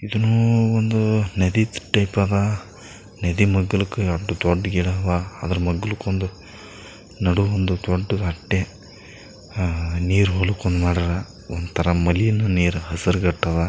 ಇದನ್ನು ಒಂದ್ ನದಿ ಟೈಪ್ ಅದ ನದಿ ಮಾಗ್ಲಕ್ ದೊಡ್ ಗಿಡವ ಅದ್ರ್ ಮಾಗ್ಲಕ್ ಒಂದ್ ನಡು ಒಂದ್ ದೊಡ್ಡ್ ಕಟ್ಟೆ ಆಹ್ಹ್ ನೀರ್ ಹೊಲಕ್ ಒಂದ್ ಮಾಡ್ಯಾರ ಒಂದ್ತಾರ ಮಲಿನ ನೀರ್ ಹಸ್ರ್ ಗಟದ.